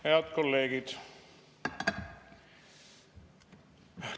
Head kolleegid!